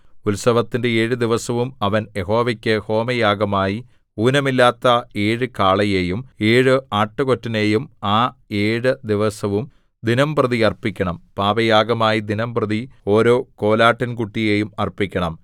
ഉത്സവത്തിന്റെ ഏഴു ദിവസവും അവൻ യഹോവയ്ക്ക് ഹോമയാഗമായി ഊനമില്ലാത്ത ഏഴു കാളയെയും ഏഴു ആട്ടുകൊറ്റനെയും ആ ഏഴു ദിവസവും ദിനംപ്രതി അർപ്പിക്കണം പാപയാഗമായി ദിനംപ്രതി ഓരോ കോലാട്ടിൻകുട്ടിയെയും അർപ്പിക്കണം